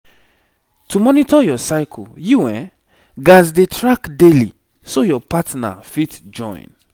to monitor your cycle you gats dey track daily so your partner fit join